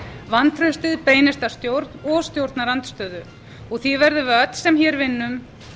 vantraustið beinist að stjórn og stjórnarandstöðu og því verðum við öll sem hér vinnum